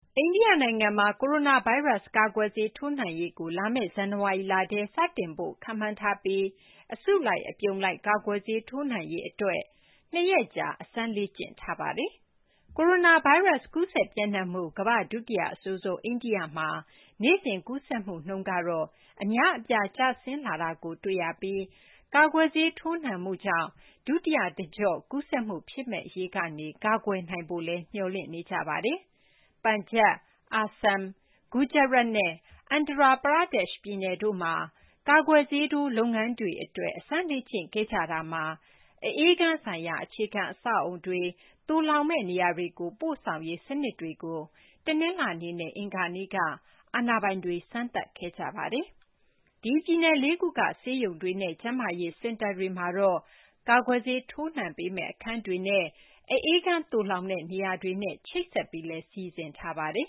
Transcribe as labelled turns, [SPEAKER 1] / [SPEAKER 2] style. [SPEAKER 1] အိန္ဒိယ နိုင်ငံမှာ ကိုရိုနာဗိုင်းရပ်စ် ကာကွယ်ဆေးထိုးနှံရေးကို လာမယ့် ဇန်နဝါရီလထဲ စတင်ဖို့ ခန့်မှန်းထားပြီး အစုလိုက် အပြုံလိုက် ကာကွယ်ဆေးထိုးနှံရေး အတွက် ၂ ရက်ကြာ အစမ်းလေ့ကျင့်ထားပါတယ်။ ကိုရိုနာဗိုင်းရပ်စ် ကူးစက် ပျံ့နှံ့မှု ကမ္ဘာ့ ဒုတိယ အဆိုးဆုံး အိန္ဒိယမှာ နေ့စဉ် ကူးစက်မှုနှုန်းကတော့ အများအပြား ကျဆင်းလာတာကိုတွေ့ရပြီး ကာကွယ်ဆေးထိုးနှံမှုကြောင့် ဒုတိယ တကျော့ ကူးစက်မှု ဖြစ်မယ့် အရေးကနေ ကာကွယ်နိုင်ဖို့လည်း မျှော်လင့်နေကြပါတယ်။ Punjab, Assam, Gujarat နဲ့ Andhra Pradesh ပြည်နယ်တို့မှာ ကာကွယ်ဆေးထိုး လုပ်ငန်းတွေ အတွက် အစမ်းလေ့ကျင့် ခဲ့ကြတာမှာ အအေးခန်းဆိုင်ရာ အခြေခံ အဆောက်အဦးတွေ၊ သိုလှောင်မယ့် နေရာတွေကို ပို့ဆောင်ရေး စနစ်တွေကို တနလာၤနေ့နဲ့ အင်္ဂါနေ့က အာဏာပိုင်တွေ စမ်းသပ်ခဲ့ကြပါတယ်။ ဒီပြည်နယ် လေးခုက ဆေးရုံတွေနဲ့ ကျန်းမာရေး စင်တာတွေမှာတော့ ကာကွယ်ဆေးထိုးနှံပေးမယ့် အခန်းတွေနဲ့ အအေးခန်းသိုလှောင်တဲ့ နေရာတွေနဲ့ ချိတ်ဆက်ပြီးလည်း စီစဉ်ထားပါတယ်